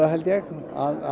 held ég að